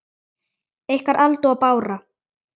Ykkar, Alda og Bára.